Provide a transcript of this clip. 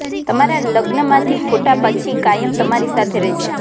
તમારા લગ્ન માંથી ફોટા પછી કાયમ તમારી સાથે રહેશે